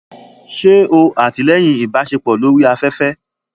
Ṣe o atilẹyin ibaṣepọ lori aƒẹfẹ?